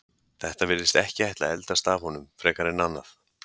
Þetta virðist ekki ætla að eldast af honum frekar en annað.